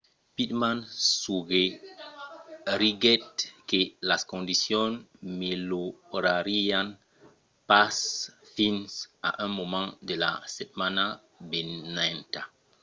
pittman suggeriguèt que las condicions melhorarián pas fins a un moment de la setmana venenta